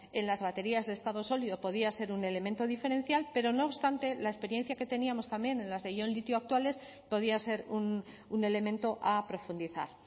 en las baterías de estado sólido podía ser un elemento diferencial pero no obstante la experiencia que teníamos también en las de ion litio actuales podía ser un elemento a profundizar